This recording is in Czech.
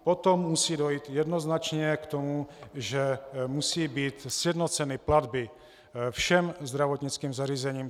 Potom musí dojít jednoznačně k tomu, že musí být sjednoceny platby všem zdravotnickým zařízením.